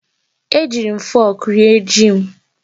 Ejiiri m fọk rie ji m.